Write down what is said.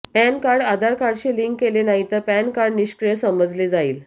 pan card Aadhaar कार्डशी link केले नाहीतर पॅन कार्ड निष्क्रिय समजले जाईल